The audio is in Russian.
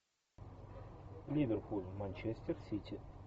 ливерпуль манчестер сити